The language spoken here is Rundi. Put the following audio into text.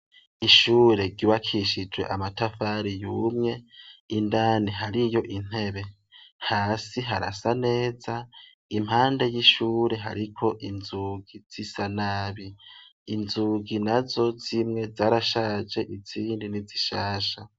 Ishure ryubakishije amatafari yumye, indani hariyo intebe. Hasi harasa neza, impande y'ishure hariko inzugi zisa nabi. Inzugi nazo zimwe zarashaje izindi nizishasha.